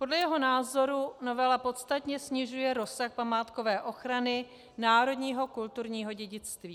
Podle jeho názoru novela podstatně snižuje rozsah památkové ochrany národního kulturního dědictví.